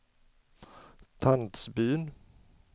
Tandsbyn